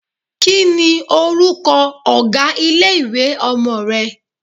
Kí ni orúkọ ọ̀gá ilé-ìwé ọmọ rẹ?